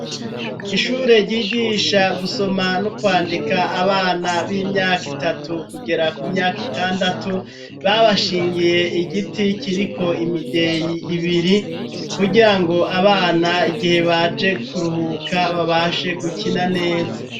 Ishure ryigisha gusoma no kwandika abana b'imyaka itatu kugera ku myaka itandatu, babashingiye igiti kiriko imideyi ibiri kugira ngo abana igihe baje kuruhuka babashe gukina neza.